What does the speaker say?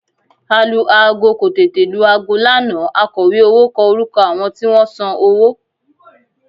Alu-aago kò tètè lu aago lánàá akọ̀wé owó kọ orúkọ àwọn tí wọ́n san owó